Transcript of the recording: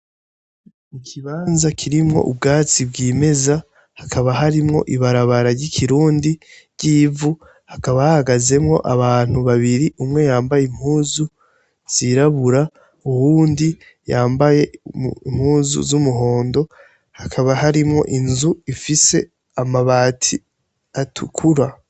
Ikibanza kirimwo ubwatsi bw'imeza hakaba harimwo ibarabara ry'ikirundi ryivu hakaba hagazemwo abantu babiri umwo yambaye impuzu zirabura uwundi yambaye mpuzu z'umuhondo hakaba harimwo inzu ifise amabati atukura.